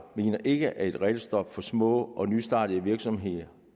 mener ikke at et regelstop for små og nystartede virksomheder